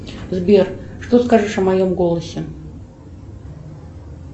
сбер что скажешь о моем голосе